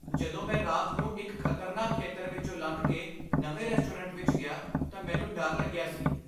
ਜਦੋਂ ਮੈਂ ਰਾਤ ਨੂੰ ਇੱਕ ਖ਼ਤਰਨਾਕ ਖੇਤਰ ਵਿੱਚੋਂ ਲੰਘ ਕੇ ਨਵੇਂ ਰੈਸਟੋਰੈਂਟ ਵਿੱਚ ਗਿਆ ਤਾਂ ਮੈਨੂੰ ਡਰ ਲੱਗਿਆ ਸੀ।